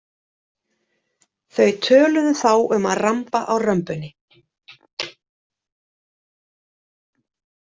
Þau töluðu þá um að ramba á römbunni.